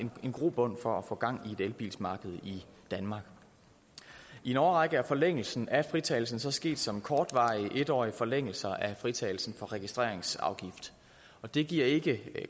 grobund for at få gang i et elbilsmarked i danmark i en årrække er forlængelse af fritagelsen så sket som kortvarige en årige forlængelser af fritagelsen for registreringsafgift og det giver ikke